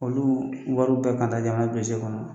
Olu wariw bɛɛ ka proze kɔnɔ